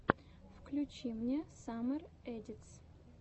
включи мне саммер эдитс